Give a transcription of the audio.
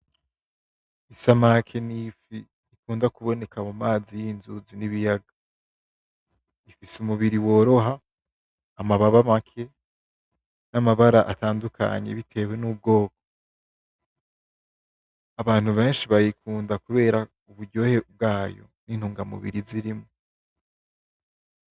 Isamaki nifi ikunda kuboneka mu mazi yinzuzi nibiyaga. Ifise umubiri woroha, amababa make namabara atandukanye bitewe nubwoko. Abantu benshi bayikunda kubera uburyohe bwayo, nintunga mubiri zirimwo.